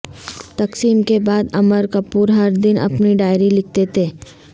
تقسیم کے بعد امر کپور ہر دن اپنی ڈائری لکھتے تھے